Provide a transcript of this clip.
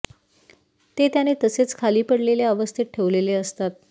ते त्याने तसेच खाली पडलेल्या अवस्थेत ठेवलेले असतात